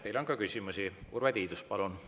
Teile on ka küsimusi.